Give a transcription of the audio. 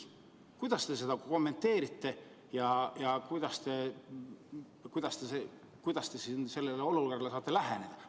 Kuidas te seda kommenteerite ja kuidas te sellele olukorrale saate läheneda?